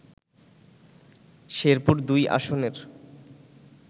শেরপুর-২ আসনের